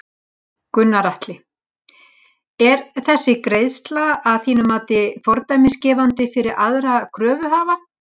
Gunnar Atli: Er þessi greiðsla að þínu mati fordæmisgefandi fyrir aðra kröfuhafa?